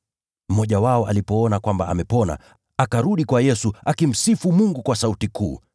Mmoja wao alipoona kwamba amepona, akarudi kwa Yesu, akimsifu Mungu kwa sauti kuu.